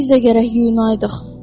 Biz də gərək yuyunaydıq.